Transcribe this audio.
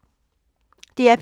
DR P3